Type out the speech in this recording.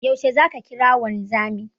Yaushe zaka kira wanzamin?